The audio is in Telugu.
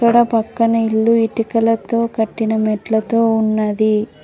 పక్కనే ఇల్లు ఇటుకలతో కట్టిన మెట్లతో ఉన్నది.